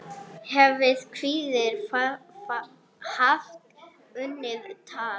hefði hvítur haft unnið tafl.